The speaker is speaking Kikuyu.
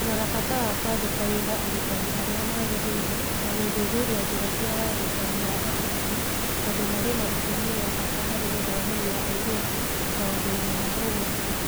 Kũrora bata wa kũandĩka wĩra arutani arĩa magĩrĩire na gũthuthuria njĩra cia wandĩkani wa arutani, tondũ marĩ na itemi rĩa bata harĩ gũthomithia airĩtu maũndũ-inĩ ma ũgwati